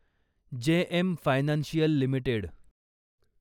JM financial limited